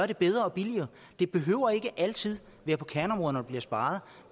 det bedre og billigere det behøver ikke altid være på kerneområderne bliver sparet